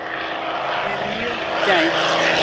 Er mjög gæf.